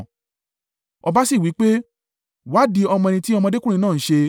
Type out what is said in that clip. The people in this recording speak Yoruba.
Ọba sì wí pé, “Wádìí ọmọ ẹni tí ọmọdékùnrin náà ń ṣe.”